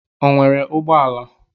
O nwere ụgbọ ala?